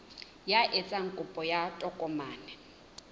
ya etsang kopo ya tokomane